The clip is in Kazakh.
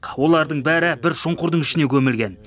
олардың бәрі бір шұңқырдың ішіне көмілген